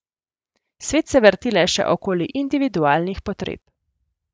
Svet se vrti le še okoli individualnih potreb.